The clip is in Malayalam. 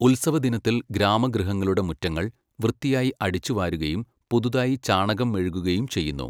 ഉത്സവദിനത്തിൽ ഗ്രാമഗൃഹങ്ങളുടെ മുറ്റങ്ങൾ, വൃത്തിയായി അടിച്ചുവാരുകയും പുതുതായി ചാണകം മെഴുകുകയും ചെയ്യുന്നു.